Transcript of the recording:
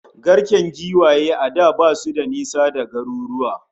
Garken kuraye a da basu da nisa da garuruwa